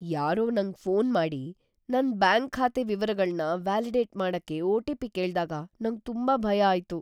ಯಾರೋ ನಂಗ್ ಫೋನ್ ಮಾಡಿ ನನ್ ಬ್ಯಾಂಕ್ ಖಾತೆ ವಿವರಗಳ್ನ ವ್ಯಾಲಿಡೇಟ್ ಮಾಡಕ್ಕೆ ಒ.ಟಿ.ಪಿ. ಕೇಳ್ದಾಗ ನಂಗ್ ತುಂಬಾ ಭಯ ಆಯ್ತು.